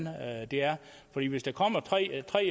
det er hvis der kommer tre tre